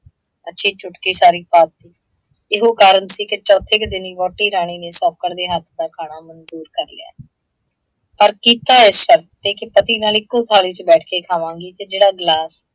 ਅੱਛੀ ਚੁਟਕੀ ਸਾਰੀ ਪਾਤੀ। ਇਹੋ ਕਾਰਨ ਸੀ ਕਿ ਚੌਥੇ ਕੁ ਦਿਨ ਹੀ ਵਹੁਟੀ ਰਾਣੀ ਨੇ ਸੌਂਕਣ ਦੇ ਹੱਥ ਦਾ ਖਾਣਾ ਮੰਜੂਰ ਕਰ ਲਿਆ, ਪਰ ਕੀਤਾ ਇਸ ਸ਼ਰਤ ਤੇ ਕਿ ਪਤੀ ਨਾਲ ਇੱਕੋ ਥਾਲੀ ਚ ਬੈਠ ਕੇ ਖਾਵਾਂਗੀ ਤੇ ਜਿਹੜਾ ਗਿਲਾਸ